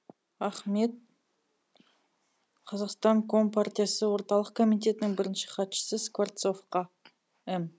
ахмет қазақстан компартиясы орталық комитетінің бірінші хатшысы скворцовқа м